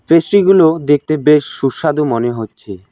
মিষ্টিগুলো দেখতে বেশ সুস্বাদু মনে হচ্ছে।